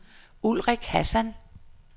Ulrik Hassan